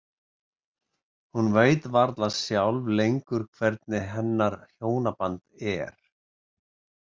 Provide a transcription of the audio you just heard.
Hún veit varla sjálf lengur hvernig hennar hjónaband er.